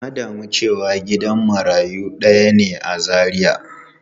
Na damu cewa gidan marayu daya ne a Zaria.